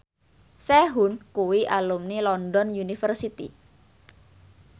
Sehun kuwi alumni London University